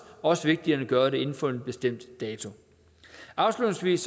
også vigtigere end at gøre det inden for en bestemt dato afslutningsvis